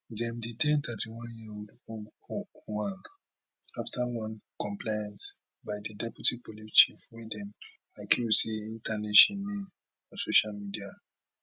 dem detain 31yearold ojwang afta one complaint by di deputy police chief wey dem accuse say e tarnish im name on social media